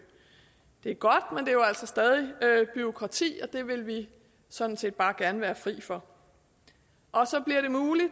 det er godt men det er jo altså stadig bureaukrati og det vil vi sådan set bare gerne være fri for